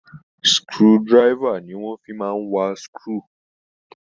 Screw driver ni wọ́n fi máa ń wà screw.